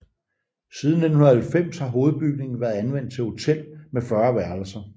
Siden 1990 har hovedbygningen været anvendt til hotel med 40 værelser